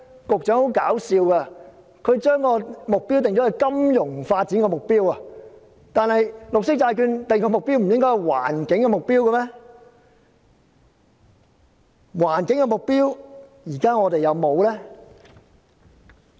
十分可笑的是，局長竟然將金融發展訂為目標，但綠色債券不是應該訂定環境目標嗎？